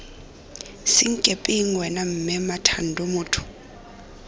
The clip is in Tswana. senkepeng wena mme mmathando motho